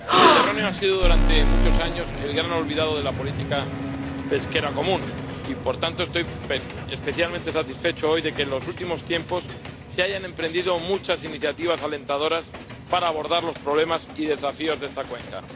El Mediterráneo ha sido durante muchos años el gran olvidado de la política pesquera común y, por tanto, estoy especialmente satisfecho hoy de que en los últimos tiempos se hayan emprendido muchas iniciativas alentadoras para abordar los problemas y desafíos de esta cuenca.